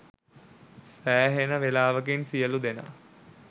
සෑහෙන වෙලාවකින් සියලූ දෙනා